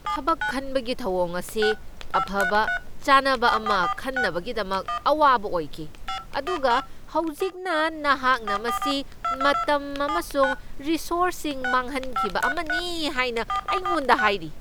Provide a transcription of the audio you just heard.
ꯊꯕꯛ ꯈꯟꯕꯒꯤ ꯊꯧꯑꯣꯡ ꯑꯁꯤ ꯑꯐꯕ ꯆꯥꯅꯕ ꯑꯃ ꯈꯟꯅꯕꯒꯤꯗꯃꯛ ꯑꯋꯥꯕ ꯑꯣꯏꯈꯤ, ꯑꯗꯨꯒ ꯍꯧꯖꯤꯛꯅ ꯅꯍꯥꯛꯅ ꯃꯁꯤ ꯃꯇꯝ ꯑꯃꯁꯨꯡ ꯔꯣꯁꯣꯔꯁꯁꯤꯡ ꯃꯥꯡꯍꯟꯈꯤꯕ ꯑꯃꯅꯤ ꯍꯥꯏꯅ ꯑꯩꯉꯣꯟꯗ ꯍꯥꯏꯔꯤ꯫